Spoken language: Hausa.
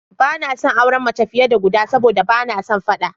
Ba na son auren mace fiye da guda sabo da ba na son faɗa.